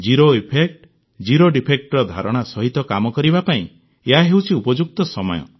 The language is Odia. ଜିରୋ ଇଫେକ୍ଟ ଜିରୋ ଡିଫେକ୍ଟର ଧାରଣା ସହିତ କାମ କରିବା ପାଇଁ ଏହା ହେଉଛି ଉପଯୁକ୍ତ ସମୟ